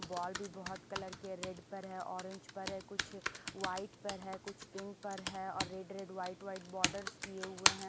Ball भी बहुत colour के रेड पर है ऑरेंज पर है कुछ वाइट पर है कुछ पिंक पर है और red red white white borders किए हुए हैं ।